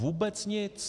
Vůbec nic.